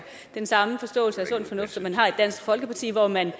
den samme forståelse af sund fornuft som man har i dansk folkeparti hvor man